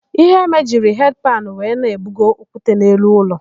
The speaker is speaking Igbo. Iheme jiri hedi panụ wee na-ebugo okwute n'elu ụlọ.